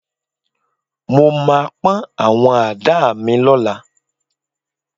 Mo máa pọ́n àwọn àdá mi lọ́la